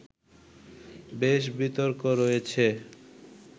বেশ বিতর্ক রয়েছে